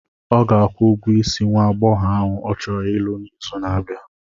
Ọ ga-akwụ ụgwọ isi nwa aghọghọ ahụ ọ chọrọ ịlụ n'izu na-abịa.